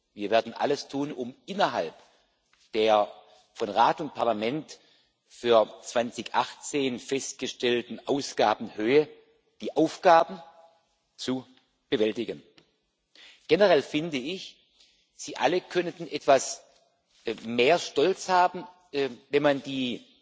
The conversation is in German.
Wir werden alles tun, um innerhalb der von Rat und Parlament für 2018 festgestellten Ausgabenhöhe die Aufgaben zu bewältigen. Generell finde ich, Sie alle könnten etwas mehr Stolz haben, wenn man die